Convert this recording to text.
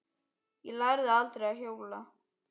Ég lærði aldrei að hjóla.